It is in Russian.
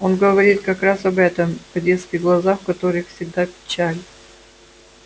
он говорит как раз об этом о детских глазах в которых всегда печаль